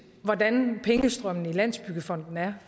hvordan pengestrømmen i landsbyggefonden er